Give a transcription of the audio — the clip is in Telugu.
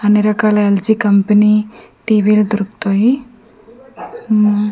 అన్నిరకాల ఎల్_జి కంపెనీ టీ_వీ లు దొరుకుతాయి ఊమ్--